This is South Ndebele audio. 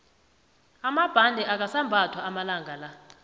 amabhande akasambathwa amalangala